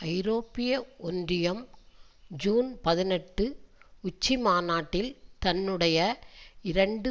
ஐரோப்பிய ஒன்றியம் ஜூன் பதினெட்டு உச்சி மாநாட்டில் தன்னுடைய இரண்டு